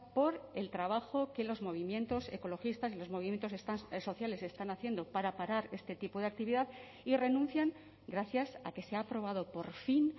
por el trabajo que los movimientos ecologistas y los movimientos sociales están haciendo para parar este tipo de actividad y renuncian gracias a que se ha aprobado por fin